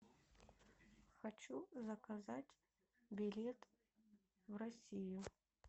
хочу заказать билет в россию